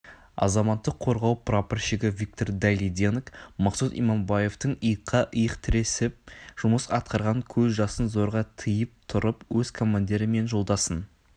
азаматтық қорғау прапорщигі виктор дайлиденок мақсұт иманбаевпен иыққа иық тіресіп жұмыс атқарған көз жасын зорға тиып тұрып өз командирі мен жолдасын